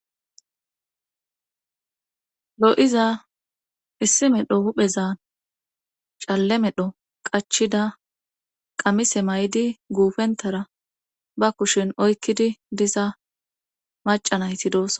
lo7iza issi medho huphezan calle medho qachida qamise may7di guufentara ba kushin oykkidi diza macanayti doosonaa